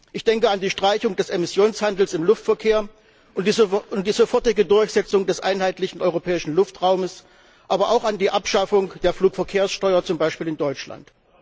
Ich denke an die Streichung des Emissionshandels im Luftverkehr und die sofortige Durchsetzung des einheitlichen europäischen Luftraumes, aber auch an die Abschaffung der Flugverkehrssteuer, zum Beispiel in Deutschland.